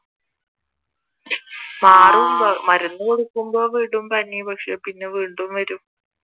മരുന്ന് കൊടുക്കുമ്പോൾ വിടും പനി പക്ഷെ പിന്നെ വീണ്ടും വരും